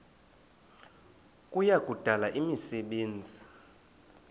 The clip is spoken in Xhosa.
kuya kudala imisebenzi